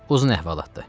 Uzun əhvalatdır.